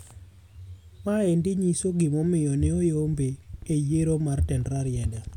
Maendi nyiso gimomio ne oyombe e yiero mar tend Rarieda.